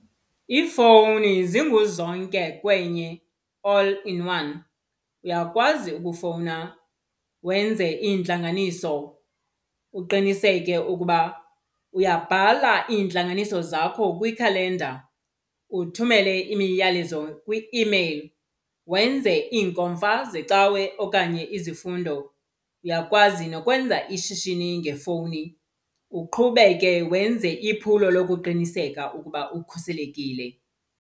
Iifowuni zingu zonke kwenye, all in one. Uyakwazi ukufowuna wenze iintlanganiso uqiniseke ukuba uyabhala iintlanganiso zakho kwikhalenda, uthumele imiyalezo kwi-imeyile, wenze iinkomfa zecawe okanye izifundo. Uyakwazi nokwenza ishishini ngefowuni uqhubeke wenze iphulo lokuqiniseka ukuba ukhuselekile.